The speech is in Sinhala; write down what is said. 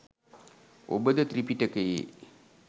ඔබද ත්‍රිපිටකයේ